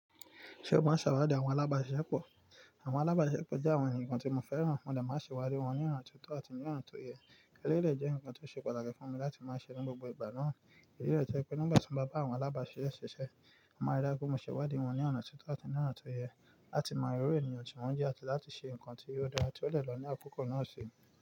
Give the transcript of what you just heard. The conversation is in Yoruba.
Ṣe o máa ń ṣàwáda àwọn alábàáṣepọ̀? Àwọn alábàáṣepọ̀ jẹ́ àwọn ẹnìkan tí mo fẹ́ràn. Mo dá máa ṣe wádìí wọn ní a ti tó àti ní ọ̀ tó yẹ. Ẹ lè de jẹ́ ǹkan tó ṣe pàtàkì fún mi láti máa ṣe ní gbogbo ìgbà náà. Ìdí lé jẹ́ pé nígbà tí mo bá bá àwọn alábàáṣepọ̀ ṣiṣẹ́, máa rí dájú pé mo ṣe wádìí wọn ní ọ̀nà tó tọ́ àti ní ọ̀nà tó yẹ láti mọ irú ènìyàn tí wọ́n jẹ́ àti láti ṣe ǹkan tí yóò dára tí ó de ba ní àkókò náà sì.